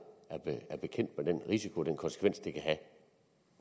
er bekendt med den risiko den konsekvens det kan have